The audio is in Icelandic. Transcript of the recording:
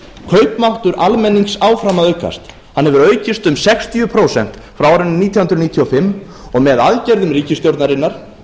kaupmáttur almennings áfram að aukast hann hefur aukist um sextíu prósent frá árinu nítján hundruð níutíu og fimm og með aðgerðum ríkisstjórnarinnar